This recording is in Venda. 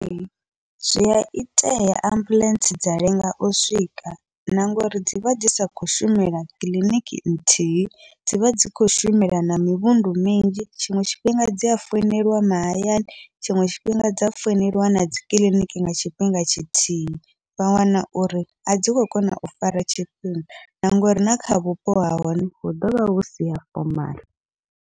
Ee, zwia itea ambuḽentse dza lenga u swika na ngauri dzivha dzi sa khou shumela kiḽiniki nthihi, dzivha dzi kho shumela na mivhundu minzhi tshiṅwe tshifhinga dzi a founeliwa mahayani tshiṅwe tshifhinga dza founeliwa na dzikiḽiniki nga tshifhinga tshithihi, vha wana uri a dzi khou kona u fara tshifhinga na ngori na kha vhupo ha hone hu ḓovha husi ha fomaḽa.